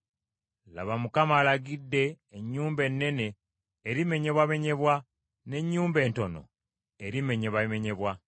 Laba Mukama alagidde, ennyumba ennene erimenyebwamenyebwa, n’ennyumba entono erimenyebwamenyebwa.